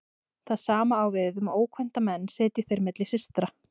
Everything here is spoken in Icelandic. Það sama á við um ókvænta menn sitji þeir milli systra.